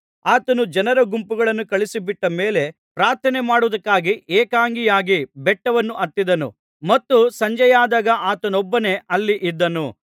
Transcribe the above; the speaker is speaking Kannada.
ಆತನು ಜನರ ಗುಂಪುಗಳನ್ನು ಕಳುಹಿಸಿಬಿಟ್ಟ ಮೇಲೆ ಪ್ರಾರ್ಥನೆ ಮಾಡುವುದಕ್ಕಾಗಿ ಏಕಾಂಗಿಯಾಗಿ ಬೆಟ್ಟವನ್ನು ಹತ್ತಿದನು ಮತ್ತು ಸಂಜೆಯಾದಾಗ ಆತನೊಬ್ಬನೇ ಅಲ್ಲಿ ಇದ್ದನು